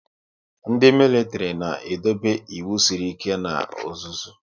Ndị militiri na edobe ịwụ sịrị ike na ọzụzụ